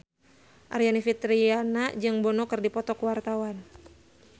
Aryani Fitriana jeung Bono keur dipoto ku wartawan